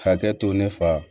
Hakɛ to ne fa